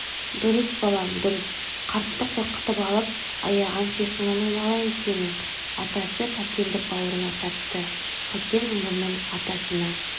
дұрыс балам дұрыс қартты қорқытып алып аяғансиқыңнан айналайын сенің атасы кәкенді бауырына тартты кәкен мұрнын атасының